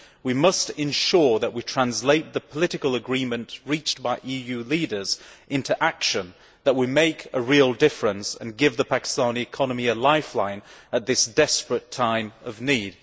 We must ensure that we translate the political agreement reached by EU leaders into action that will make a real difference and give the Pakistani economy a lifeline at this desperate time of need.